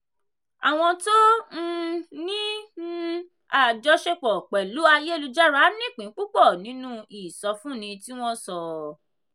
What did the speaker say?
àwọn tó um ní um àjọṣepọ̀ pẹ̀lú ayélujára nípìn púpọ̀ nínú ìsọfúnni tí wọ́n sọ.